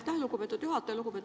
Aitäh, lugupeetud juhataja!